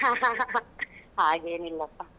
ಹಾ ಹಾ ಹಾ ಹಾಗೇನಿಲ್ಲಪ್ಪ.